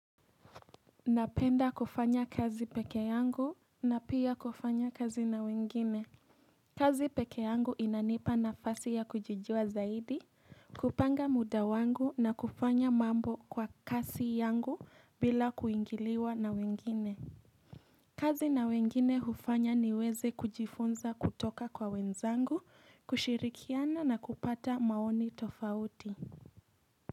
Napenda kufanya kazi peke yangu na pia kufanya kazi na wengine. Kazi peke yangu inanipa nafasi ya kujijua zaidi, kupanga muda wangu na kufanya mambo kwa kasi yangu bila kuingiliwa na wengine. Kazi na wengine hufanya niweze kujifunza kutoka kwa wenzangu, kushirikiana na kupata maoni tofauti.